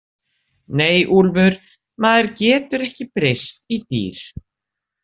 Nei, Úlfur, maður getur ekki breyst í dýr